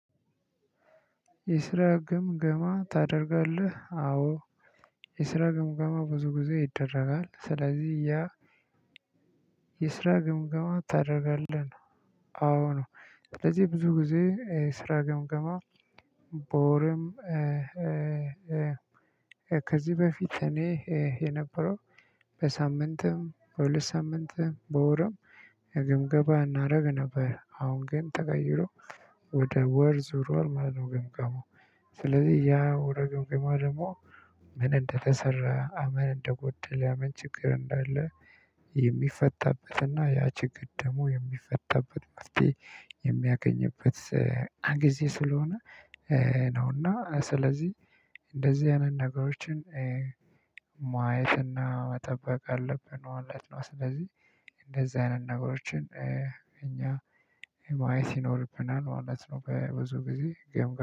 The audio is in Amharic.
የስራ ግምገማ ታደርጋለህ? አዎ። የስራ ግምገማ ብዙ ጊዜ ይደረጋል። ስለዚህ ያ የስራ ግምገማ ታደርጋለህ? ነው። አዋ ነው። ስለዚህ ብዙ ጊዜ ስራ ገምገማ በወርም፣ ከዚህ በፊት እኔ፣ የነበረው በሳምንትም፣ በሁለት ሳምንትም፣ በወርም ግምገባ እናደርግ ነበረ። አሁን ግን ተቀይሮ፣ ወደ ወር ዙሯል ማለት ነው። ግምገማው ስለዚህ ያ ወር ገምገማው ደግሞ ምን እንደተሰራ፣ ምን እንደጎደለ፣ ምን ችግር እንዳለ የሚፈታበትና ያ ችግር ደግሞ የሚፈታበት መፍቴ የሚያገኝበት ጊዜ ስለሆነ ነው እና ስለዚህ፣ እንደዚህ አይነት ነገሮችን ማየትና መጠበቅ አለብን መለት ነው። ስለዚህ፣ እንደዚህ አይነት ነገሮችን፣ እኛ ማየት ይኖርብናል ማለት ነው። በብዙ ጊዜ ገምበው